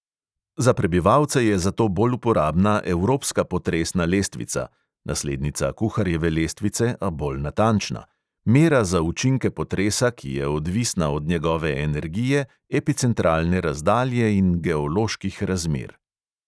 Za prebivalce je zato bolj uporabna evropska potresna lestvica (naslednica kuharjeve lestvice, a bolj natančna), mera za učinke potresa, ki je odvisna od njegove energije, epicentralne razdalje in geoloških razmer.